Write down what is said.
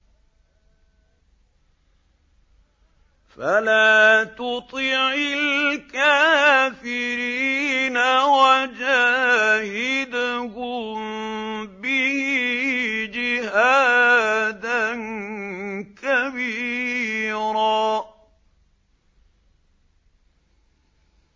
فَلَا تُطِعِ الْكَافِرِينَ وَجَاهِدْهُم بِهِ جِهَادًا كَبِيرًا